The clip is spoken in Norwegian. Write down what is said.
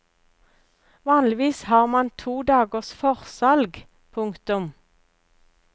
Vanligvis har man to dagers forsalg. punktum